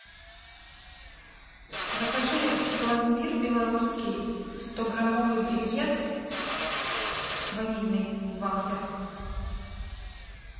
закажи пломбир белорусский стограммовый брикет ванильный в вафлях